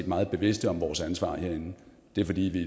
meget bevidste om vores ansvar herinde det er fordi vi